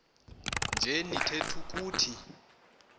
nje nitheth ukuthi